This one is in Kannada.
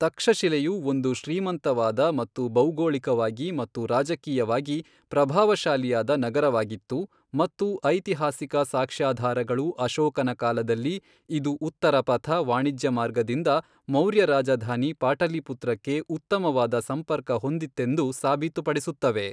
ತಕ್ಷಶಿಲೆಯು ಒಂದು ಶ್ರೀಮಂತವಾದ ಮತ್ತು ಭೌಗೋಳಿಕವಾಗಿ ಮತ್ತು ರಾಜಕೀಯವಾಗಿ ಪ್ರಭಾವಶಾಲಿಯಾದ ನಗರವಾಗಿತ್ತು, ಮತ್ತು ಐತಿಹಾಸಿಕ ಸಾಕ್ಷ್ಯಾಧಾರಗಳು ಅಶೋಕನ ಕಾಲದಲ್ಲಿ, ಇದು ಉತ್ತರಪಥ ವಾಣಿಜ್ಯ ಮಾರ್ಗದಿಂದ ಮೌರ್ಯ ರಾಜಧಾನಿ ಪಾಟಲಿಪುತ್ರಕ್ಕೆ ಉತ್ತಮವಾದ ಸಂಪರ್ಕ ಹೊಂದಿತ್ತೆಂದು ಸಾಬೀತುಪಡಿಸುತ್ತವೆ.